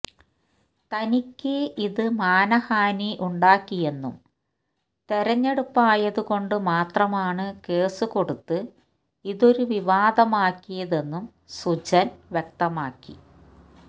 തനിക്ക് ഇത് മാനഹാനി ഉണ്ടാക്കിയെന്നും തെരഞ്ഞെടുപ്പായതുകൊണ്ട് മാത്രമാണ് കേസുകൊടുത്ത് ഇതൊരു വിവാദമാക്കാത്തതെന്നും സുജന് വ്യക്തമാക്കി